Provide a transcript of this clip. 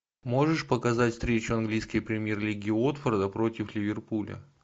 можешь показать встречу английской премьер лиги уотфорда против ливерпуля